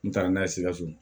N taara n'a ye sikaso